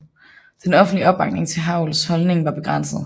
Den offentlige opbakning til Havels holdning var begrænset